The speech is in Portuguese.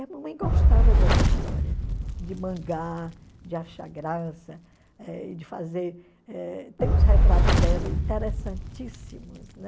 E a mamãe gostava dessa história, de mangar, de achar graça, eh de fazer... eh.... Tem uns retratos dela interessantíssimos, né?